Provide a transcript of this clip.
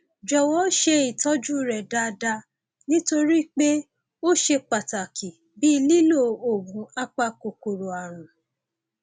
jọwọ ṣe ìtọjú rẹ déédéé nítorí pé ó ṣe pàtàkì bíi lílo oògùn apakòkòrò ààrùn